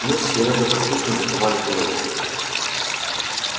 мы с серёгой послушно закивали головами